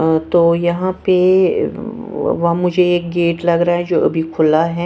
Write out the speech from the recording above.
मैं तो यहां पे मुझे एक गेट लग रहा है जो अभी खुला हैं।